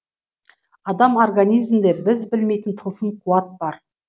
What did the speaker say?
адам организмінде біз білмейтін тылсым қуат бар